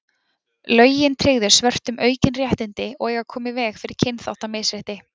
Lögin tryggðu svörtum aukin réttindi og eiga að koma í veg fyrir kynþáttamisrétti.